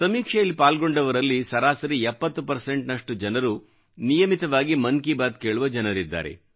ಸಮೀಕ್ಷೆಯಲ್ಲಿ ಪಾಲ್ಗೊಂಡವರಲ್ಲಿ ಸರಾಸರಿ 70 ರಷ್ಟು ಜನರು ನಿಯಮಿತವಾಗಿ ಮನ್ ಕಿ ಬಾತ್ ಕೇಳುವ ಜನರಿದ್ದಾರೆ